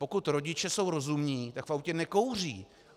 Pokud rodiče jsou rozumní, tak v autě nekouří.